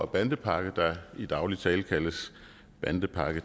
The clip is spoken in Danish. bandepakke der i daglig tale kaldes bandepakke